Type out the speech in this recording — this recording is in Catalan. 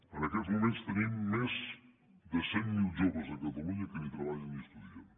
en aquests moments tenim més de cent mil joves a catalunya que ni treballen ni estudien